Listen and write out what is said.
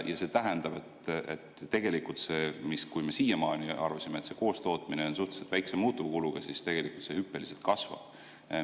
Ja see tähendab, et kui me siiani arvasime, et see koostootmine on suhteliselt väikse muutuvkuluga, siis tegelikult see hüppeliselt kasvab.